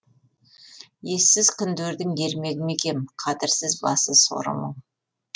ессіз күндердің ермегі ме екем қадірсіз басы соры мың